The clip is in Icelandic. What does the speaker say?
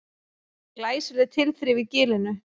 Glæsileg tilþrif í Gilinu